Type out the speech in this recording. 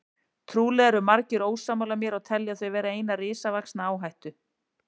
Trúlega eru margir ósammála mér og telja þau vera eina risavaxna áhættu.